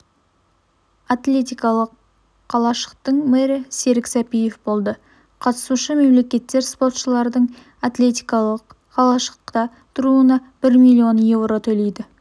атлетикалық қалашықтың мэрі серік сәпиев болды қатысушы мемлекеттер спортшылардың атлетикалық қалашықта тұруына бір миллион еуро төлейді